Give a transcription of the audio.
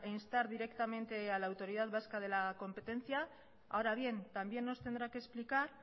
instar directamente a la autoridad vasca de la competencia ahora bien también nos tendrá que explicar